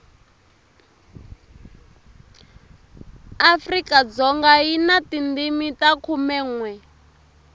afrikadzoga yi na tindimi ta khumenwe